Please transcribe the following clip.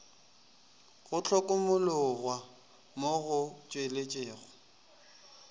go hlokomologwa mo go tšweletšego